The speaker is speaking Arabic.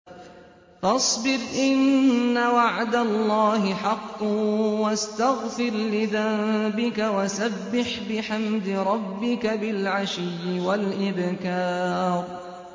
فَاصْبِرْ إِنَّ وَعْدَ اللَّهِ حَقٌّ وَاسْتَغْفِرْ لِذَنبِكَ وَسَبِّحْ بِحَمْدِ رَبِّكَ بِالْعَشِيِّ وَالْإِبْكَارِ